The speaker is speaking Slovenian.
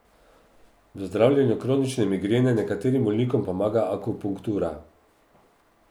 V zdravljenju kronične migrene nekaterim bolnikom pomaga akupunktura.